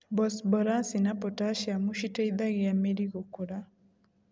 Bosborasi na potaciamu citeithaga mĩri gũkũra,